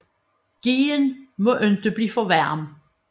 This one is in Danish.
Gheen må ikke blive for varm